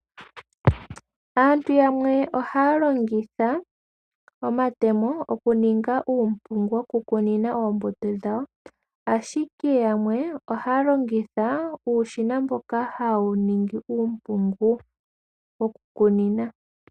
Aantu yamwe ohaa longitha omatemo mokuninga uumpungu wokukunina oombuto dhawo, ashike yamwe ohaalongitha uushina mboka hawu ningi uumpungu wokukunina.